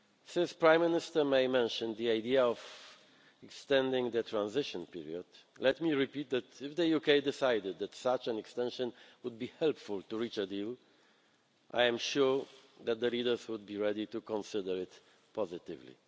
Since Prime Minister May mentioned the idea of extending the transition period, let me repeat that if the UK decided that such an extension would be helpful to reach a deal, I am sure that the leaders would be ready to consider it positively.